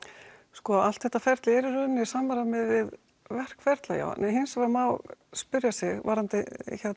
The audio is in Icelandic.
sko allt þetta ferli er í rauninni í samræmi við verkferla já en hins vegar má spyrja sig varðandi